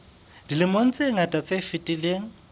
dilemong tse ngata tse fetileng